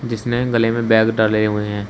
जिसने गले में बैग डाले हुए हैं।